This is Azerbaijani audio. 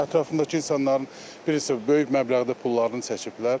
Yəni ətrafımdakı insanların bilirsiniz böyük məbləğdə pullarını çəkiblər.